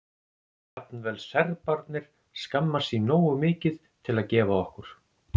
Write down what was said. Jafnvel Serbarnir skammast sín nógu mikið til að gefa okkur